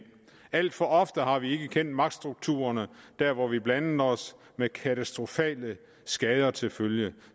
alt for ofte har vi ikke kendt magtstrukturerne der hvor vi blandede os med katastrofale skader til følge